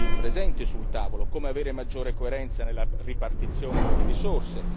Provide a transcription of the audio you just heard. presenti sul tavolo, come avere maggiore coerenza nella ripartizione delle risorse?